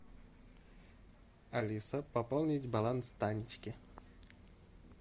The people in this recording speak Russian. алиса пополнить баланс танечке